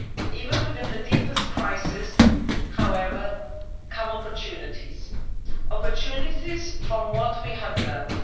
Even within the deepest crisis, however, come opportunities opportunities from what we have learned.